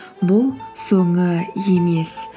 бұл соңы емес